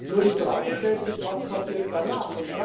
Nur, die Frage stellt sich Was passiert danach?